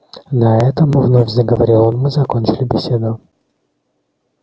на этом вновь заговорил он мы закончили беседу